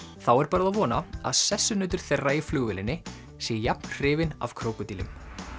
þá er bara að vona að sessunautur þeirra í flugvélinni sé jafn hrifinn af krókódílum